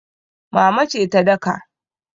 Mama ce ta daka.